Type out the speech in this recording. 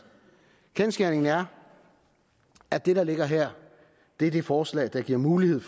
kendsgerningen er at det der ligger her er det forslag der giver mulighed